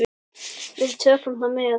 Við tökum það með.